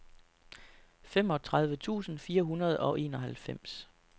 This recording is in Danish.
femogtredive tusind fire hundrede og enoghalvfems